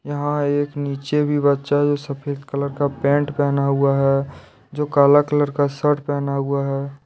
यहां एक नीचे भी बच्चा जो सफेद कलर का पेंट पहना हुआ है जो काला कलर का शर्ट पहना हुआ है।